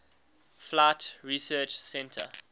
flight research center